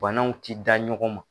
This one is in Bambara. Banaw ti da ɲɔgɔn ma.